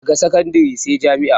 Daga sakandare sai jami'a